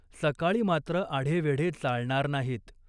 सकाळी मात्र आढेवेढे चालणार नाहीत.